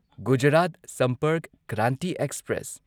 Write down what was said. Gujarat Sampark Kranti express